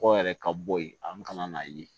Kɔgɔ yɛrɛ ka bɔ yen a bɛ ka na n'a ye